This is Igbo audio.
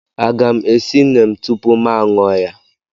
a ga m esi neem tupu m aṅụ ya?